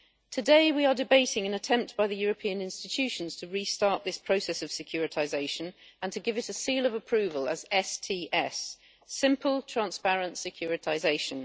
Today we are debating an attempt by the European institutions to restart this process of securitisation and to give it a seal of approval as STS simple, transparent securitisation.